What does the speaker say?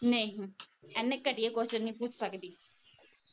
ਨਹੀਂ ਇਹਨੇ ਘਟੀਆ ਕ਼ੁਇਸਨ ਨਹੀਂ ਪੁੱਛ ਸਕਦੀ।